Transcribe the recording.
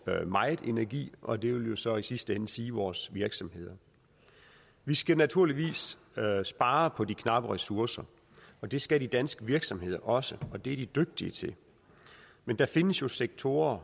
meget energi og det vil så i sidste ende sige vores virksomheder vi skal naturligvis spare på de knappe ressourcer og det skal de danske virksomheder også det er de dygtige til men der findes jo sektorer